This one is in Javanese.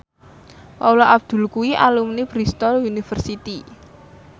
Paula Abdul kuwi alumni Bristol university